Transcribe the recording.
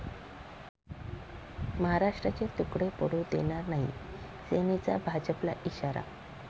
महाराष्ट्राचे तुकडे पडू देणार नाही, सेनेचा भाजपला इशारा